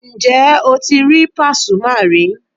Ǹjẹ́ o ti rí Pàsúmà rí?